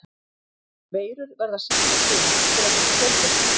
Veirur verða að sýkja frumur til að geta fjölgað sér.